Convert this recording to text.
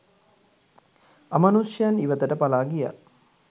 අමනුෂ්‍යයන් ඉවතට පලා ගියා